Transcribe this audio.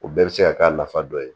O bɛɛ bɛ se ka k'a nafa dɔ ye